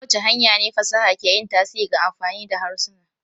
Ta wace hanya ce fasaha ke yin tasiri ga amfani da harsuna?